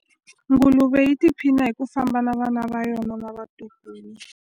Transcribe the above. Nguluve yi tiphina hi ku famba na vana va yona na vatukulu.